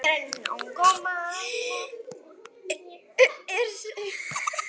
Er slíkt ei nóg?